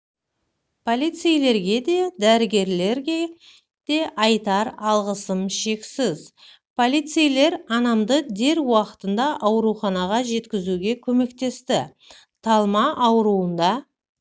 полицейлерге де дәрігерлерге де айтар алғысым шексіз полицейлер анамды дер уақытында ауруханаға жеткізуге көмектесті талма ауруында